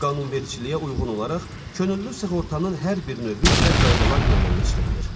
Qanunvericiliyə uyğun olaraq könüllü sığortanın hər bir növü üzrə qaydalar müəyyənləşdirilir.